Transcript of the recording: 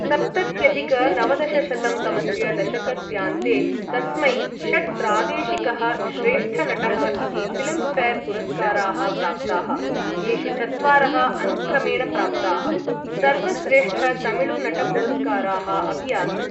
सप्तत्यधिक नवदशशतं तमस्य दशकस्यान्ते, तस्मै षट् प्रादेशिकः श्रेष्ठनटः इति फिल्म् फेर् पुरस्काराः प्राप्ताः, येषु चत्वारः अनुक्रमेण प्राप्ताः सर्वश्रेष्ठतमिळुनटपुरस्काराः अपि आसन्।